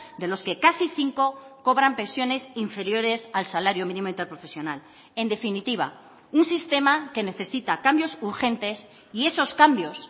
de los que casi cinco cobran pensiones inferiores al salario mínimo interprofesional en definitiva un sistema que necesita cambios urgentes y esos cambios